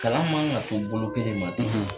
Kalan man kan ka to bolo kelen ma .